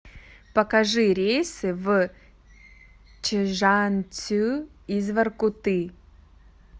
покажи рейсы в чжанцю из воркуты